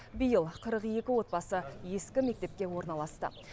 биыл қырық екі отбасы ескі мектепке орналасты